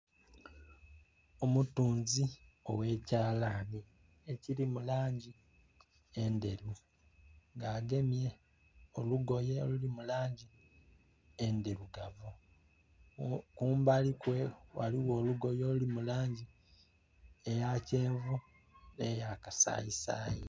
Omutunzi owekyalani ekili mu langi endheru nga agemye olugoye oluli mu langi endhirugavu kumbalikwe ghaligho olugoye oluli mu langi eya kyenvu ne ya kasayi sayi.